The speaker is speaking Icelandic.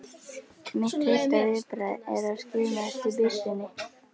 Mitt fyrsta viðbragð er að skima eftir byssunni.